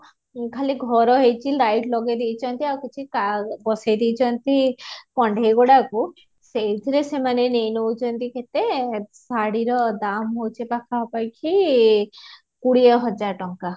ଖାଲି ଘର ହେଇଛି light ଲଗେଈ ଦେଇଛନ୍ତି ଆଉ କିଛି ବସେଈ ଦେଈଛନ୍ତୀ କଣ୍ଢେଈ ଗୁଡ଼ାକୁ ସେଈଥିରେ ସେମାନେ ନେଈନଉଛନ୍ତୀ କେତେ ଶାଢୀ ର ଦାମ ହଉଛି ପାଖା ପାଖି କୋଡିୟ ହଜାର ଟଙ୍କା